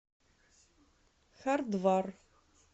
хардвар